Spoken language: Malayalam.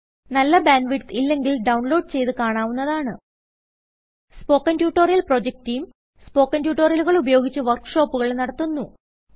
നല്ല ബാൻഡ് വിഡ്ത്ത് ഇല്ലെങ്കിൽ ഡൌൺലോഡ് ചെയ്ത് കാണാവുന്നതാണ് spoken tutorial project team spoken ട്യൂട്ടോറിയലുകൾ ഉപയോഗിച്ച് വർക്ക് ഷോപ്പുകൾ നടത്തുന്നു